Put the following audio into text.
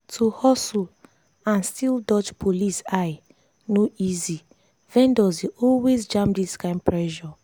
to hustle and still dodge police eye no easy vendors dey always jam this kind pressure.